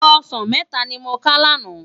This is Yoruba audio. Òsán mètá ni mó ká làná